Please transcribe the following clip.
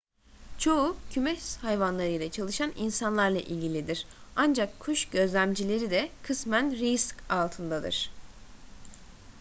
çoğu kümes hayvanlarıyla çalışan insanlarla ilgilidir ancak kuş gözlemcileri de kısmen risk altındadır